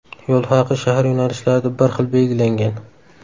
Yo‘l haqi shahar yo‘nalishlarida bir xil belgilangan.